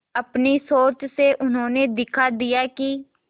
अपनी सोच से उन्होंने दिखा दिया कि